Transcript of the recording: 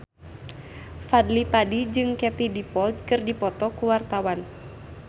Fadly Padi jeung Katie Dippold keur dipoto ku wartawan